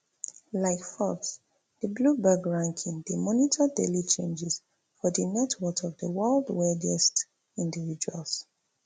like forbes di bloomberg ranking dey monitor daily changes for di net worth of di world wealthiest individuals